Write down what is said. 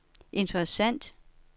interessant